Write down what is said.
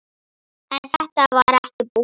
En þetta var ekki búið.